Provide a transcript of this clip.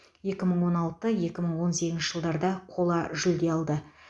екі мың он алты екі мың он сегізінші жылдарда қола жүлде алды